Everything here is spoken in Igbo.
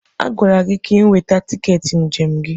A gwara gị ka ị nweta tiketi njem gị!